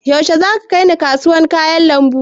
Yaushe za ka kaina kasuwar kayan lambu?